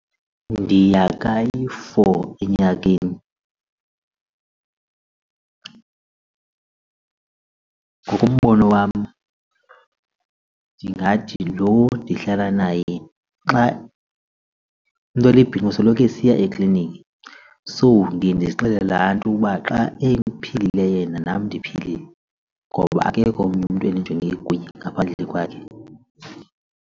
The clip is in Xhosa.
Ndiya kayi-four enyakeni. Ngokombono wam ndingathi lo ndihlala naye, xa umntu olibhinqa usoloko esiya ekliniki. So ndiye ndizixele laa nto uba xa ephilile yena nam ndiphilile ngoba akekho omnye umntu endijonge kuye ngaphandle kwakhe.